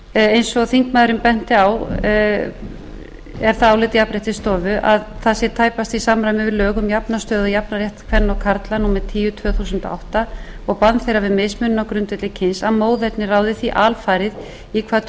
eins og þingmaðurinn benti á er það álit jafnréttisstofu að það sé tæpast í samræmi við lög um jafna stöðu og jafnan rétt kvenna og karla númer tíu tvö þúsund og átta og bann þeirra við mismunun á grundvelli kyns að móðerni ráði því alfarið í hvaða